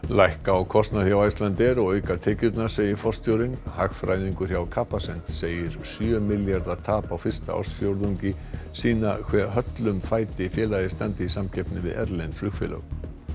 lækka á kostnað hjá Icelandair og auka tekjurnar segir forstjórinn hagfræðingur hjá Capacent segir sjö milljarða tap á fyrsta ársfjórðungi sýna hve höllum fæti félagið standi í samkeppni við erlend flugfélög